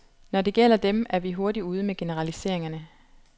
Når det gælder dem, er vi hurtigt ude med generaliseringerne.